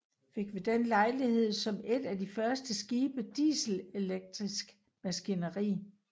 Fik ved den lejlighed som et af de første skibe dieselelektrisk maskineri